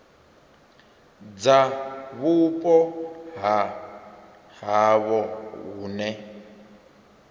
dza vhupo ha havho hune